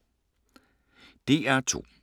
DR2